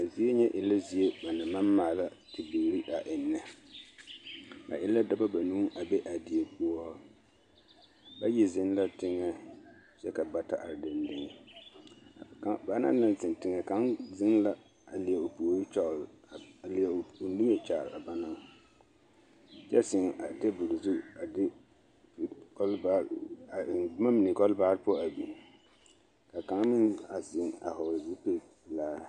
A zie nyɛ e la zie ba naŋ maŋ maala bibiiri a ennɛ, ba e la dɔbɔ banuu a be a die poɔ, bayi zeŋ la teŋɛŋ kyɛ ka bata are dendeŋe banaŋ zeŋ teŋɛ kaŋa zeŋ la a leɛ o puori kyɔgele a leɛ o niŋe kyaare a banaŋ kyɛ zeŋ a teebol zu a de kɔlbaa a eŋ boma mine kɔlbaa poɔ a biŋ ka kaŋ meŋ a zeŋ a hɔgele zupili pelaa.